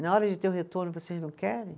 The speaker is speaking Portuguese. E na hora de ter o retorno, vocês não querem?